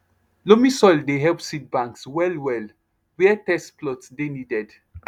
loamy soil dey help seed banks well well were test plot dey needed